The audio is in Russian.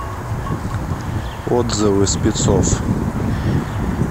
отзывы спецов